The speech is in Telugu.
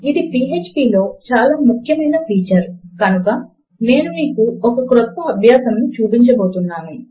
ఇది పీఎచ్పీ లో చాలా ముఖ్యమైన ఫీచర్ కనుక నేను మీకు ఒక క్రొత్త అభ్యాసమును చూపించబోతున్నాను